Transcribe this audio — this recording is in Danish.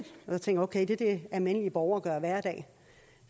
jeg tænkte okay det er det almindelige borgere gør hver dag